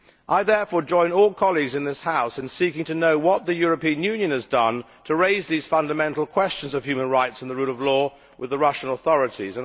I therefore join all colleagues in this House in seeking to know what the European Union has done to raise these fundamental questions of human rights and the rule of law with the Russian authorities.